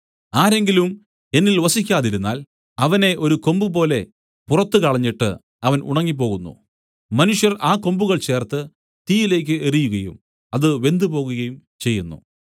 ആരെങ്കിലും എന്നിൽ വസിക്കാതിരുന്നാൽ അവനെ ഒരു കൊമ്പുപോലെ പുറത്തു കളഞ്ഞിട്ട് അവൻ ഉണങ്ങിപ്പോകുന്നു മനുഷ്യർ ആ കൊമ്പുകൾ ചേർത്ത് തീയിലേക്ക് എറിയുകയും അത് വെന്തുപോകുകയും ചെയ്യുന്നു